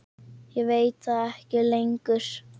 Ég veit það ekki lengur.